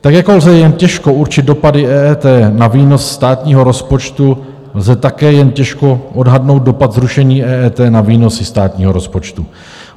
Tak jako lze jen těžko určit dopady EET na výnos státního rozpočtu, lze také jen těžko odhadnout dopad zrušení EET na výnosy státního rozpočtu.